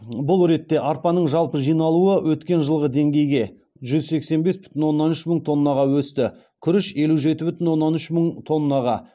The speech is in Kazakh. бұл ретте арпаның жалпы жиналуы өткен жылғы деңгейге жүз сексен бес бүтін оннан үш мың тоннаға өсті күріш елу жеті бүтін оннан үш мың тоннаға